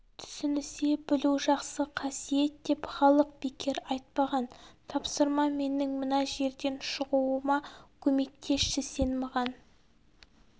түсінісе білу жақсы қасиет деп халық бекер айтпаған тапсырма менің мына жерден шығуыма көмектесші сен маған